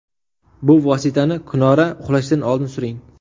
Bu vositani kunora uxlashdan oldin suring.